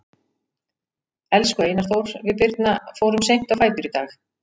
Elsku Einar Þór, við Birna fórum seint á fætur í dag.